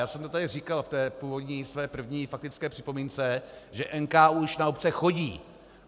Já jsem to tady říkal v té původní své první faktické připomínce, že NKÚ už na obce chodí.